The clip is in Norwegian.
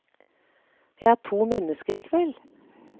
Jeg er to mennesker i kveld.